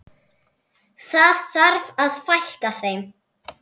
Það þarf að fækka þeim.